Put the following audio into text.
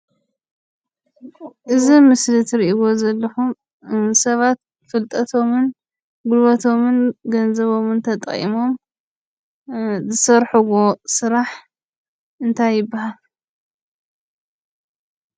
እዚ ኣብ ምስሊ ትሪኢዎ ዘለኩም ሰባት ፍልጠቶም፣ ጉልበቶምን ገንዘቦምን ትጠቒሞም ዝሰርሕዎ ስራሕ እንታይ ይባሃል?